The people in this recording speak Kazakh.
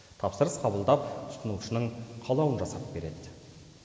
тапсырыс қабылдап тұтынушының қалауын жасап береді